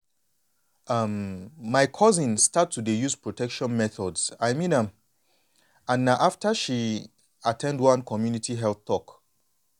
um my cousin start to dey use protection methods i mean am and na after she at ten d one community health talk.